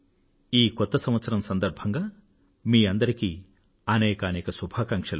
ఈ కొత్త సంవత్సర సందర్భంగా మీ అందరికీ అనేకానేక శుభాకాంక్షలు